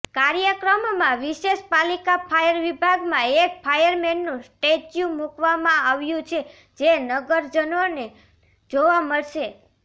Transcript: કાર્યક્રમમાં વિશેષ પાલિકા ફાયર વિભાગમાં એક ફાયરમેનનું સ્ટેચ્યુ મુકવામાં આવ્યું છે જે નગરજનોને જોવા મળશે